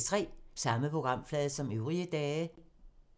Samme programflade som øvrige dage